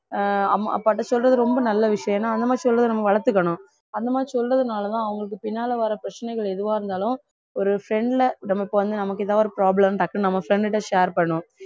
ஆஹ் அம்மா அப்பாட்ட சொல்றது ரொம்ப நல்ல விஷயம் ஏன்னா அந்த மாதிரி சொல்றத நம்ம வளர்த்துக்கணும் அந்த மாதிரி சொல்றதுனாலதான் அவங்களுக்கு பின்னால வர்ற பிரச்சனைகள் எதுவா இருந்தாலும் ஒரு friend ல நமக்கு வந்து நமக்கு ஏதாவது ஒரு problem டக்குன்னு நம்ம friend கிட்ட share பண்ணுவோம்